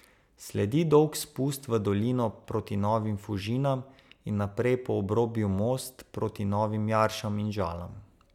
Sledi dolg spust v dolino proti Novim Fužinam in naprej po obrobju Most proti Novim Jaršam in Žalam.